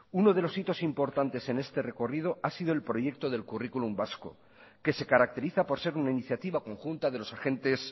uno de los hitos importantes en este recorrido ha sido el proyecto del currículum vasco que se caracteriza por ser una iniciativa conjunta de los agentes